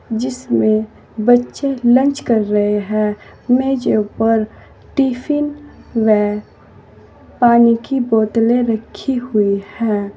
जिसमें बच्चे लंच कर रहे हैं मेजो पर टिफिन वै पानी की बोतले रखी हुई है।